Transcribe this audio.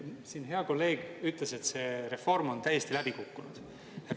Siin hea kolleeg ütles, et see reform on täiesti läbi kukkunud.